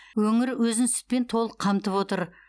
өңір өзін сүтпен толық қамтып отыр